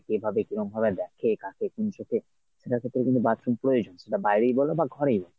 কে ভাবে কিরম ভাবে দেখে কাকে কী চোখে সেটার কিন্তু bathroom তো প্রয়োজন এবার বাইরেই বল বা ঘরেই বল